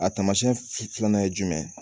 A taamasiyɛn filanan ye jumɛn ye